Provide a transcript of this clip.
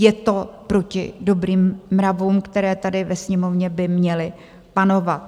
Je to proti dobrým mravům, které tady ve Sněmovně by měly panovat.